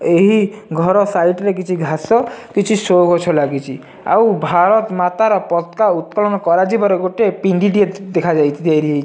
ଏହି ଘର ସାଇଟ ରେ କିଛି ଘାସ କିଛି ଶୋ ଗଛ ଲାଗିଚି ଆଉ ଭାରତ ମାତା ର ପତକା ଉତ୍କଳନ କରାଯିବାର ଗୋଟେ ପିଣ୍ଡି ଟିଏ ଦେଖା ଯାଇ ତିଆରି ହେଇ --